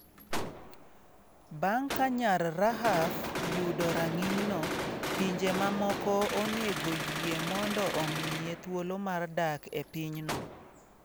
Bang’ ka nyar Rahaf yudo rang’inyno, pinje mamoko onego oyie mondo omiye thuolo mar dak e pinyno.